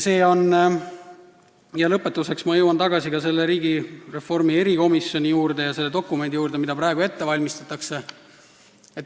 Lõpetuseks jõuan ma tagasi riigireformi probleemkomisjoni juurde ja selle dokumendi juurde, mida praegu ette valmistatakse.